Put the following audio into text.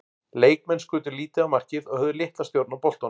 Leikmenn skutu lítið á markið og höfðu litla stjórn á boltanum.